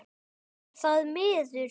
Er það miður.